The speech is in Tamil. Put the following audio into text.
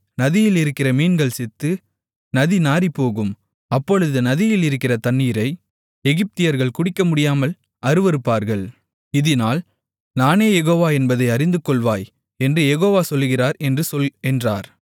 நதியில் இருக்கிற மீன்கள் செத்து நதி நாறிப்போகும் அப்பொழுது நதியில் இருக்கிற தண்ணீரை எகிப்தியர்கள் குடிக்கமுடியாமல் அருவருப்பார்கள் இதினால் நானே யெகோவா என்பதை அறிந்துகொள்வாய் என்று யெகோவா சொல்லுகிறார் என்று சொல் என்றார்